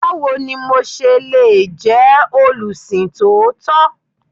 Báwo ni mo se le jẹ́ olùsìn tòótọ́?